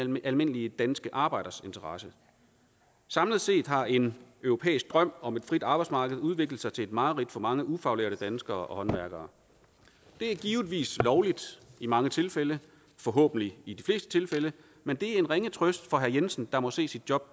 mere almindelige danske arbejders interesse samlet set har en europæisk drøm om et frit arbejdsmarked udviklet sig til et mareridt for mange ufaglærte danskere og håndværkere det er givetvis lovligt i mange tilfælde forhåbentlig i de fleste tilfælde men det er en ringe trøst for herre jensen der må se sit job